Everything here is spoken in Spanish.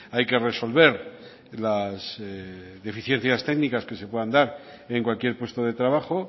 hay que resolver las deficiencias técnicas que se pueden dar en cualquier puesto de trabajo